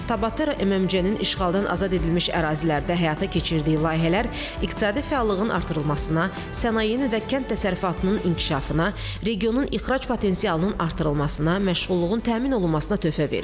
Tabatera MMC-nin işğaldan azad edilmiş ərazilərdə həyata keçirdiyi layihələr iqtisadi fəallığın artırılmasına, sənayenin və kənd təsərrüfatının inkişafına, regionun ixrac potensialının artırılmasına, məşğulluğun təmin olunmasına töhfə verir.